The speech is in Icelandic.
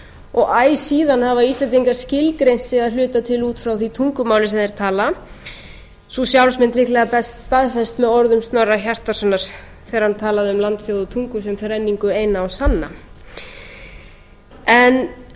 og æ síðan hafa íslendingar skilgreint sig að hluta til út frá því tungumáli sem þeir tala sú sjálfsmynd líklega best staðfest með orðum snorra hjartarsonar þegar hann talaði um landið og tungu sem þrenningu eina og sanna fólk